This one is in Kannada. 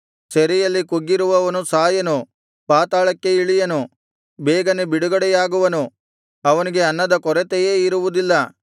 ಸೆರೆಯಲ್ಲಿ ಕುಗ್ಗಿರುವವನು ಸಾಯನು ಪಾತಾಳಕ್ಕೆ ಇಳಿಯನು ಬೇಗನೆ ಬಿಡುಗಡೆಯಾಗುವನು ಅವನಿಗೆ ಅನ್ನದ ಕೊರತೆಯೇ ಇರುವುದಿಲ್ಲ